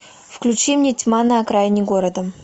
включи мне тьма на окраине города